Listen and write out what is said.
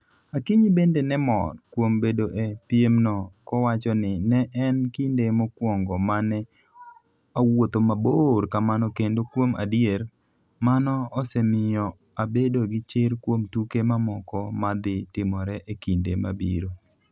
Akinyi bende ne mor kuom bedo e piemno kowacho ni: "Ne en kinde mokwongo ma ne awuotho mabor kamano kendo kuom adier, mano osemiyo abedo gi chir kuom tuke mamoko ma dhi timore e kinde mabiro. "